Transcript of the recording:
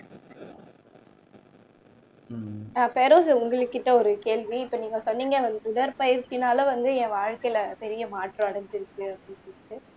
ஆஹ் பெரோஸ் உங்கள்கிட்ட ஒரு கேள்வி இப்ப நீங்க சொன்னீங்க அந்த உடற்பயிற்சினால வந்து என் வாழ்க்கையில பெரிய மாற்றம் அடைஞ்சிருக்கு அப்படின்னு சொல்லிட்டு